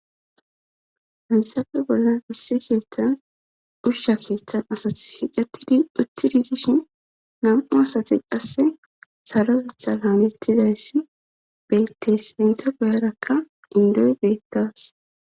haysappe bollan issi keeththan ushsha keeththan asati shiqatidi uttid digishin nam7u asati qasse saro hetha laamettidayssi betteysi hinta guyarakka indoy beettas